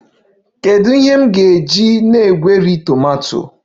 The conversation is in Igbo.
Kedu ihe m ga-eji na-egweri tomato?